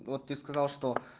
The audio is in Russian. вот ты сказал что